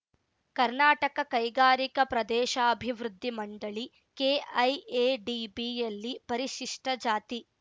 ಕರ್ನಾಟಕ ಕೈಗಾರಿಕಾ ಪ್ರದೇಶಾಭಿವೃದ್ಧಿ ಮಂಡಳಿಕೆಐಎಡಿಬಿಯಲ್ಲಿ ಪರಿಶಿಷ್ಟ ಜಾತಿ